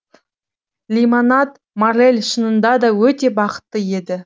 лимонад моррель шынында да өте бақытты еді